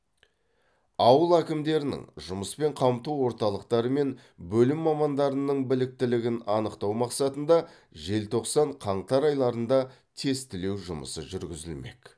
ауыл әкімдерінің жұмыспен қамту орталықтары мен бөлім мамандарының біліктілігін анықтау мақсатында желтоқсан қаңтар айларында тестілеу жұмысы жүргізілмек